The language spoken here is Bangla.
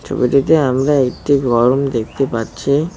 ছবিটিতে আমরা একটি দেখতে পাচ্ছি।